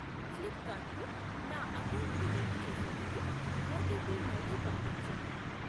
Flipkart ను నా అకౌంటుకి లింకు చేసేందుకు ఓటీపీ మళ్ళీ పంపించు.